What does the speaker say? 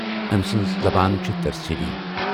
ٲمۍ سٕنز زبان چھے ترسیلی۔